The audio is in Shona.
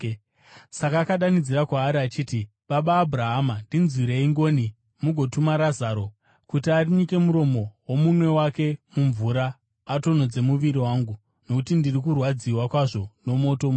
Saka akadanidzira kwaari achiti, ‘Baba Abhurahama, ndinzwirei ngoni mugotuma Razaro kuti anyike muromo womunwe wake mumvura atonhodze rurimi rwangu, nokuti ndiri kurwadziwa kwazvo mumoto muno.’